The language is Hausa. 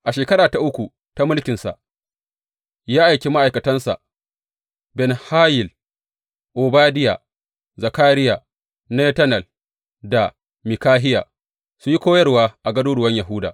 A shekara ta uku ta mulkinsa, ya aiki ma’aikatansa Ben Hayil, Obadiya, Zakariya, Netanel da Mikahiya su yi koyarwa a garuruwan Yahuda.